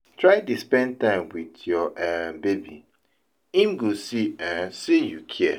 try dey spend time wit yur um baby, em go see um sey yu kia